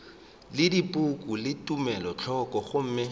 le dipoko le tumelothoko gomme